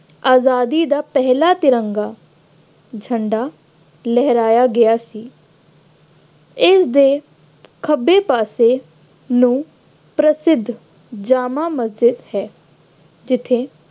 ਆਜ਼ਾਦੀ ਦਾ ਪਹਿਲਾ ਤਿਰੰਗਾ ਝੰਡਾ ਲਹਿਰਾਇਆ ਗਿਆ ਸੀ, ਇਸਦੇ ਖੱਬੇ ਪਾਸੇ ਨੂੰ ਪ੍ਰਸਿੱਧ ਜਾਮਾ ਮਸਜਿਦ ਹੈ। ਜਿੱਥੇ